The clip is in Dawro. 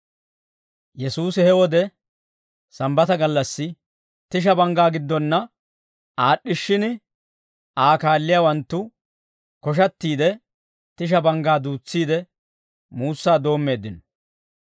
Yesuusi he wode Sambbata gallassi, tisha banggaa giddonna aad'd'ishshin Aa kaalliyaawanttu koshattiide, tisha banggaa duutsiide, muussaa doommeeddino.